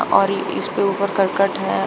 और इसके ऊपर करकट है।